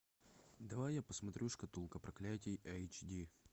давай я посмотрю шкатулка проклятий эйч ди